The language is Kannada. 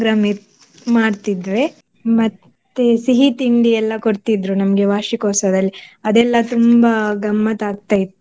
ಇತ್~ ಮಾಡ್ತಿದ್ವಿ. ಮತ್ತೆ ಸಿಹಿ ತಿಂಡಿ ಎಲ್ಲ ಕೊಡ್ತಿದ್ರು ನಮ್ಗೆ ವಾರ್ಷಿಕೋತ್ಸವದಲ್ಲಿ ಅದೆಲ್ಲ ತುಂಬಾ ಗಮ್ಮತ್ತಾಕ್ತಯಿತ್ತು.